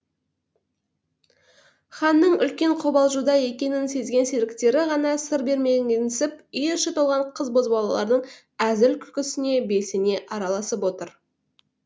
ханның үлкен қобалжуда екенін сезген серіктері ғана сыр бермегенсіп үй іші толған қыз бозбалалардың әзіл күлкісіне белсене араласып отыр